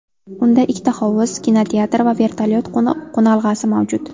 Unda ikkita hovuz, kinoteatr va vertolyot qo‘nalg‘asi mavjud.